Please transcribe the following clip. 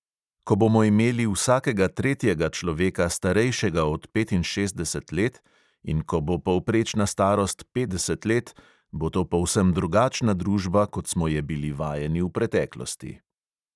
Ko bomo imeli vsakega tretjega človeka starejšega od petinšestdeset let in ko bo povprečna starost petdeset let, bo to povsem drugačna družba, kot smo je bili vajeni v preteklosti.